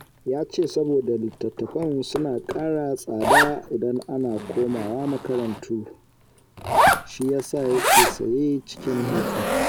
Ya ce saboda littattafan suna ƙara tsada idan an koma makarantu, shi ya sa yake saya cikin hutu